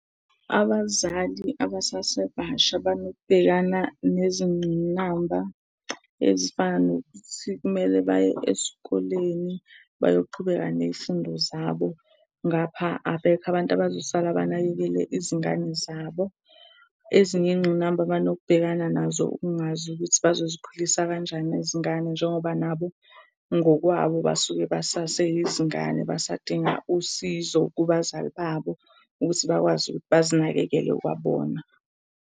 Abazali abasasebasha banokubhekana nezingqinamba ezifana nokuthi kumele baye esikoleni bayoqhubeka ney'fundo zabo, ngapha abekho abantu abazosala banakekele izingane zabo. Ezinye iy'ngqinamba abanokubhekana nazo, ukungazi ukuthi bazozikhulisa kanjani izingane, njengoba nabo ngokwabo basuke basaseyizingane basadinga usizo kubazali babo ukuthi bakwazi ukuthi bazinakekele kwabona.